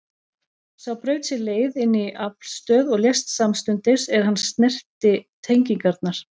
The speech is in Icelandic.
Sá braut sér leið inn í aflstöð og lést samstundis er hann snerti tengingarnar.